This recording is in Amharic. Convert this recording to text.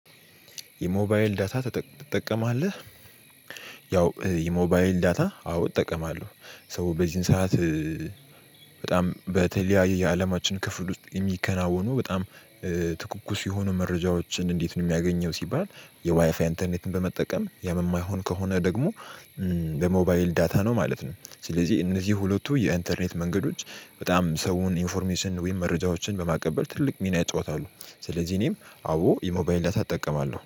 የሞባይል ዳታ ትጠቀማለህ? ያው የሞባይል ዳታ አዎ እጠቀማለሁ። ሰው በዚህን ሰዓት በጣም በተለያየ የአለማችን ክፍል ውስጥ የሚከናወኑ በጣም ትኩኩስ የሆኑ መረጃዎችን እንዴት ነው የሚያገኘው? ሲባል የዋይፋይ ኢንተርኔትን በመጠቀም ያምማይሆን ከሆነ ደግሞ በሞባይል ዳታ ነው ማለት ነው። ስለዚህ እነዚህ ሁለቱ የኢንተርኔት መንገዶች በጣም ሰውን ኢንፎርሜሽን ወይም መረጃዎችን በማቀበል ትልቅ ሚና ይጫወታሉ። ስለዚህ እኔም አዎ የሞባይል ዳታ አጠቀማለሁ